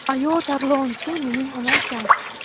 Ayo tarlon, sen mening onamsan.